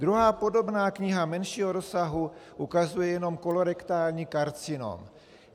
Druhá podobná kniha menšího rozsahu ukazuje jenom kolorektální karcinom.